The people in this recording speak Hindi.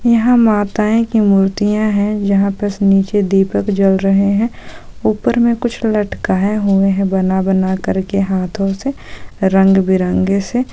यहां माताएं की मूर्तीया है जहां बस नीचे दीपक जल रहे है ऊपर मे कुछ लटकाया हुए है बना बनाकर के हाथों से रंग बिरंगे से --